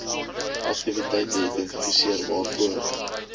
aktiwiteite identifiseer waarvoor